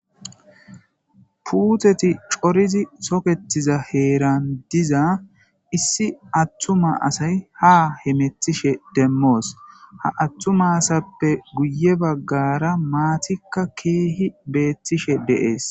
puuteti corizi toketiza heeran diza issi attuma asay ha hemetishe demmoos ha attuma asappe guye baggara maatikka keehi beettishe deees